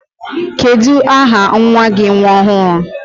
Kedu aha nwa gi nwa ọhụrụ?